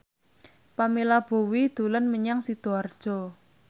Pamela Bowie dolan menyang Sidoarjo